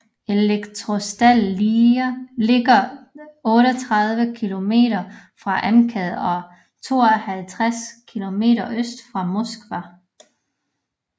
Elektrostal ligger 38 km fra MKAD og 52 km øst for Moskva